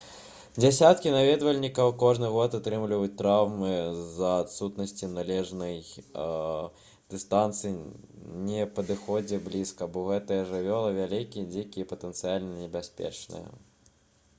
дзясяткі наведвальнікаў кожны год атрымліваюць траўмы з-за адсутнасці належнай дыстанцыі не падыходзьце блізка бо гэтыя жывёлы вялікія дзікія і патэнцыяльна небяспечныя